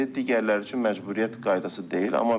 Digərləri üçün məcburiyyət qaydası deyil.